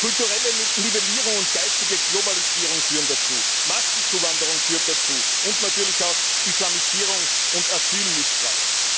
Kulturelle Nivellierung und geistige Globalisierung führen dazu, Massenzuwanderung führt dazu, und natürlich auch Islamisierung und Asylmissbrauch.